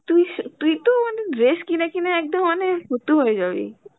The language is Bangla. তুই সেই তুই তো মানে dress কিনে কিনে একদম মানে ফতুর হয়ে যাবি